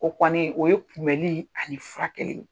O kɔni, o ye kunbɛli ani furakɛli ye.